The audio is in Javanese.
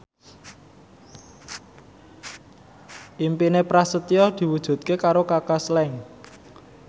impine Prasetyo diwujudke karo Kaka Slank